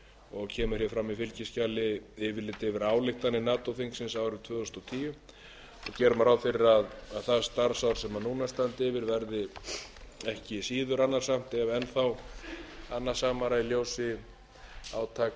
og kemur hér fram í fylgiskjali yfirlit yfir ályktanir nato þingsins árið tvö þúsund og tíu gera má ráð fyrir að það starfsár sem núna standi yfir verði ekki síður annasamt eða enn þá annasamara í ljósi